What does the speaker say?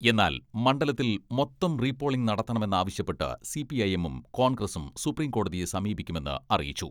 എന്നാൽ, മണ്ഡലത്തിൽ മൊത്തം റീപോളിങ്ങ് നടത്തണമെന്നാവശ്യപ്പെട്ട് സിപിഐഎമ്മും കോൺഗ്രസും സുപ്രീം കോടതിയെ സമീപിക്കുമെന്ന് അറി യിച്ചു.